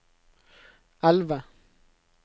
elve